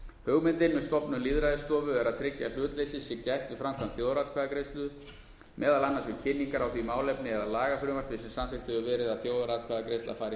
hugmyndin með stofnun lýðræðisstofu er að tryggja að hlutleysis sé gætt við framkvæmd þjóðaratkvæðagreiðslu meðal annars við kynningar á því málefni eða lagafrumvarpi sem samþykkt hefur verið að þjóðaratkvæðagreiðsla fari